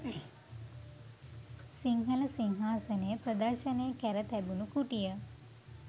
සිංහල සිංහාසනය ප්‍රදර්ශනය කැර තිබුණු කුටිය